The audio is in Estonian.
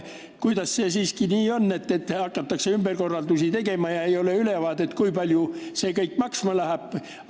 Kuidas saab nii olla, et hakatakse ümberkorraldusi tegema, aga ei ole ülevaadet, kui palju see kõik maksma läheb?